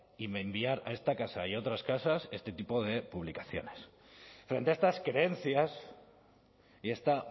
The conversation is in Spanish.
y enviar a esta casa y a otras casas este tipo de publicaciones frente a estas creencias y esta